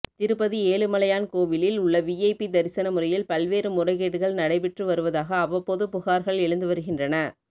திருப்பதி ஏழுமலையான் கோவிலில் உள்ள விஐபி தரிசன முறையில் பல்வேறு முறைகேடுகள் நடைபெற்று வருவதாக அவ்வப்போது புகார்கள் எழுந்து வருகின்றன